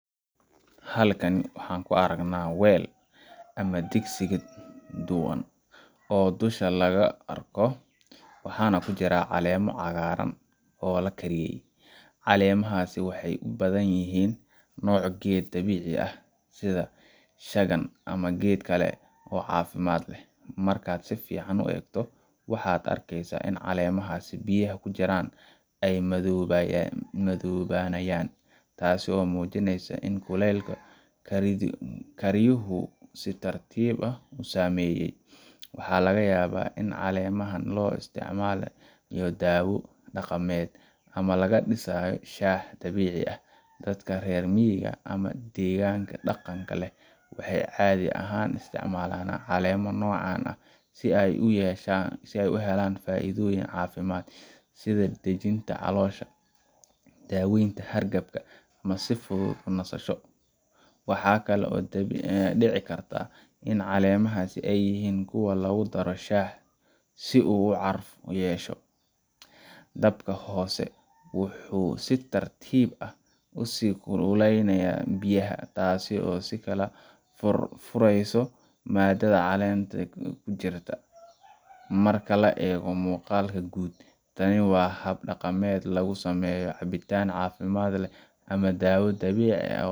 Halkan waxaan ka aragnaa weel ama digsiga duban oo dusha laga arko, waxaana ku jira caleemo cagaaran oo la kariyey. Caleemahaasi waxay u badan yihiin nooc geed dabiici ah, sida shagan ama geed kale oo caafimaad leh. Markaad si fiican u eegto, waxaad arkaysaa in caleemaha biyaha ku jiraan ay madoobaanayaan, taasoo muujinaysa in kulaylka kariyuhu si tartiib ah u saameeyay. Waxaa laga yaabaa in caleemahan loo isticmaalayo daawo dhaqameed, ama laga dhisayo shaah dabiici ah. Dadka reer miyiga ama deegaannada dhaqanka leh waxay caadi ahaan isticmaalaan caleemo noocan ah si ay uga helaan faa’iidooyin caafimaad sida dejinta caloosha, daaweynta hargabka, ama si fudud u nasasho. Waxa kale oo dhici karta in caleemahas ay yihiin kuwo lagu daro shaah si uu caraf u yeesho. Dabka hoose wuxuu si tartiib ah u sii kululeynayaa biyaha, taasoo sii kala furayso maadada caleemaha ku jirta. Marka la eego muuqaalka guud, tani waa hab dhaqameed lagu sameeyo cabitaan caafimaad leh ama daawo dabiici ah